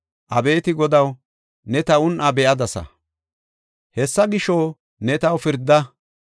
Abeeti Godaw, ne ta un7aa be7adasa; hessa gisho, ne taw pirda.